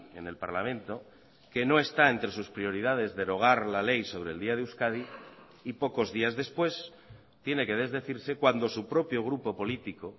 en el parlamento que no está entre sus prioridades derogar la ley sobre el día de euskadi y pocos días después tiene que desdecirse cuando su propio grupo político